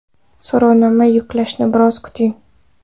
So‘rovnoma yuklanishini biroz kuting.